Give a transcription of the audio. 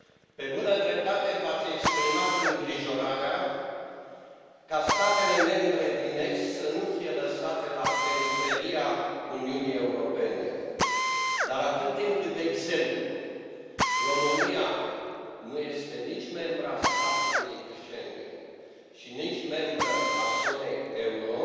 Pe bună dreptate, v ați exprimat îngrijorarea ca statele membre din est să nu fie lăsate la periferia Uniunii Europene dar, atât timp cât, de exemplu, România nu este nici membră a spațiului Schengen și nici membră a zonei euro,